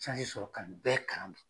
sɔrɔ ka nin bɛɛ kalan